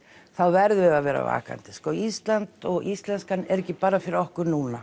þá verðum við að vera vakandi og íslenskan er ekki bara fyrir okkur núna